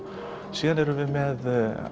síðan erum við með